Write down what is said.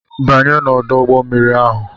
Banye n'ọdọ mmiri ahụ!